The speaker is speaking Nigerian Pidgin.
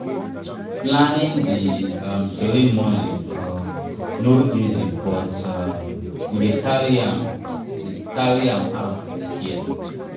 planning di um ceremony um no easy but um we dey carry am carry am out with care.